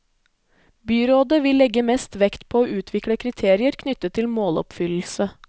Byrådet vil legge mest vekt på å utvikle kriterier knyttet til måloppfyllelse.